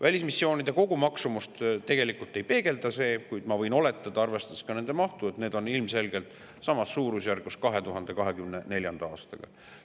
Välismissioonide kogumaksumust see tegelikult ei peegelda, kuid ma võin oletada, arvestades nende mahtu, et see on ilmselt samas suurusjärgus 2024. aasta omaga.